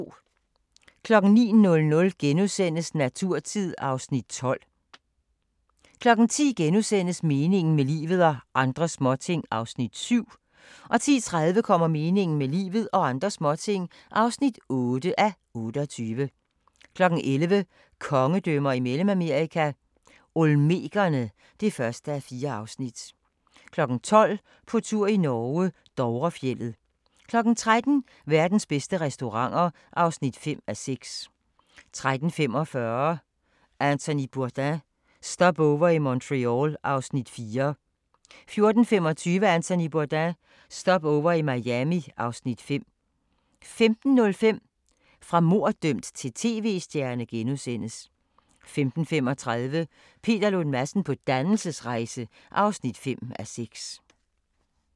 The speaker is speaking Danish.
09:00: Naturtid (Afs. 12)* 10:00: Meningen med livet – og andre småting (7:28)* 10:30: Meningen med livet – og andre småting (8:28) 11:00: Kongedømmer i Mellemamerika – Olmekerne (1:4) 12:00: På tur i Norge: Dovrefjeldet 13:00: Verdens bedste restauranter (5:6) 13:45: Anthony Bourdain – Stopover i Montreal (Afs. 4) 14:25: Anthony Bourdain – Stopover i Miami (Afs. 5) 15:05: Fra morddømt til tv-stjerne * 15:35: Peter Lund Madsen på dannelsesrejse (5:6)